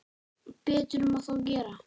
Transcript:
Betur má þó gera.